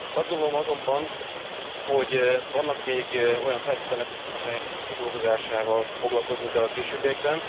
Azt gondolom azonban, hogy vannak még olyan feltételek, amelyeknek a kidolgozásával foglalkoznunk kell a későbbiekben.